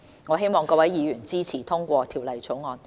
我希望各位議員支持通過《條例草案》。